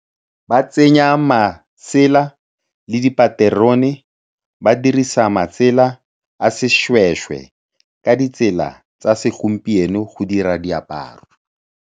Ba tsenya masela le dipaterone, ba dirisa matsela a sešwešwe ka ditsela tsa segompieno go dira diaparo.